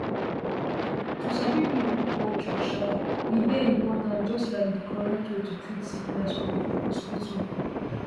to sabi people culture um dey important just like di correct way to treat sickness for hospital